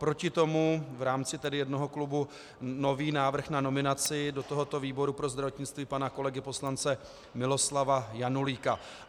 Proti tomu v rámci jednoho klubu nový návrh na nominaci do tohoto výboru pro zdravotnictví pana kolegy poslance Miloslava Janulíka.